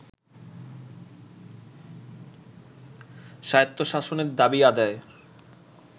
স্বায়ত্তশাসনের দাবি আদায়ের